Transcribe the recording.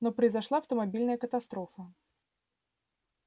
но произошла автомобильная катастрофа